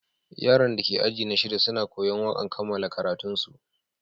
Yaran da ke ajina shida suna koya'n wakan kamalan karatun su.